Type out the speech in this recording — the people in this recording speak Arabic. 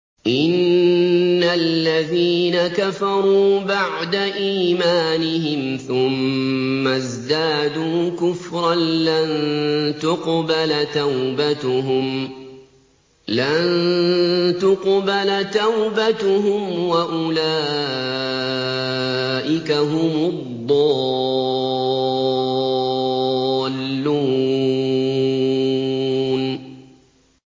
إِنَّ الَّذِينَ كَفَرُوا بَعْدَ إِيمَانِهِمْ ثُمَّ ازْدَادُوا كُفْرًا لَّن تُقْبَلَ تَوْبَتُهُمْ وَأُولَٰئِكَ هُمُ الضَّالُّونَ